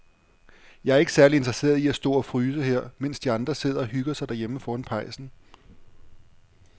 Jeg er ikke særlig interesseret i at stå og fryse her, mens de andre sidder og hygger sig derhjemme foran pejsen.